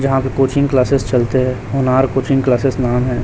यहां पर coaching classes चलते हैं होनहार कोचिंग क्लासेस नाम है।